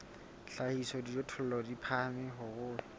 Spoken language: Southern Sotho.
hlahisa dijothollo di phahame haholo